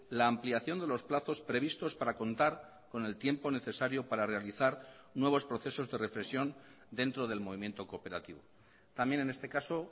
la ampliación de los plazos previstos para contar con el tiempo necesario para realizar nuevos procesos de reflexión dentro del movimiento cooperativo también en este caso